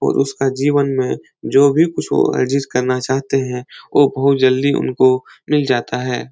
और उसका जीवन में जो भी कुछ एडजस्ट करना चाहते हैं। वो बहुत जल्दी उनको मिल जाता है।